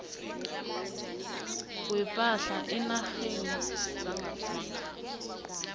kwepahla eenarheni zangaphandle